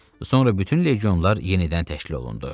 Sonra bütün legionlar yenidən təşkil olundu.